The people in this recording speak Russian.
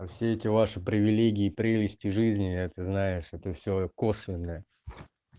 то все эти ваши привилегии прелести жизни это знаешь это все косвенное